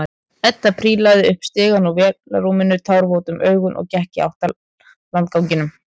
Edda prílaði upp stigann úr vélarrúminu, tárvot um augun og gekk í átt að landganginum.